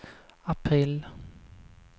april